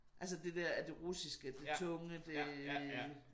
Altså det der at det russiske det tunge det